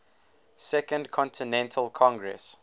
second continental congress